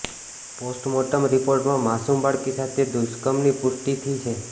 postmortem રિપોર્ટમાં માસૂમ બાળકી સાથે દુષ્કર્મની પુષ્ટિ થી છે